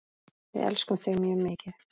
Við elskum þig mjög mikið.